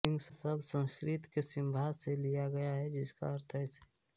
सिंह शब्द संस्कृत के सिम्हा से लिया गया है जिसका अर्थ है शेर